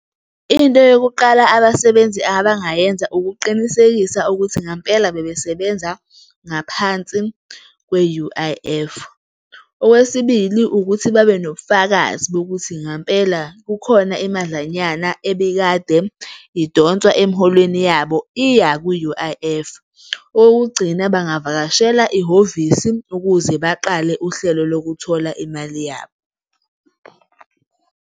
Into yokuqala abasebenzi abangayenza, ukuqinisekisa ukuthi ngempela bebesebenza ngaphansi kwe U_I_F, okwesibili, ukuthi babe nobufakazi bokuthi ngempela kukhona imadlanyana ebikade idonswa emholweni yabo iya ku-U_I_F, okokugcina, bangavakashela ihhovisi ukuze baqale uhlelo lokuthola imali yabo.